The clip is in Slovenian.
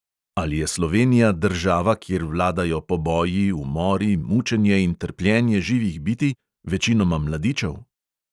Ali je slovenija država, kjer vladajo poboji, umori, mučenje in trpljenje živih bitij, večinoma mladičev?